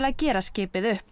gera skipið upp